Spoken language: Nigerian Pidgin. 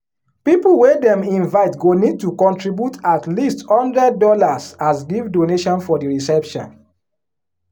people wey dem invite go need to contribute at least hundred dollars as gift donation for di reception.